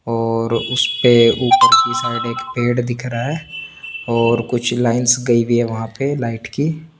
और उस पे ऊपर की साइड एक पेड़ दिख रहा हे और कुछ लाइन्स गयी हुई हे वह पे लाइट की --